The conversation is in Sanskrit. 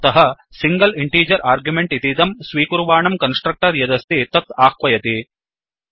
अत सिङ्गल् इण्टीजर् आर्ग्युमेण्ट् इतीदं स्वीकुर्वाणं कन्स्ट्रक्टर् यदस्ति तत् आह्वयति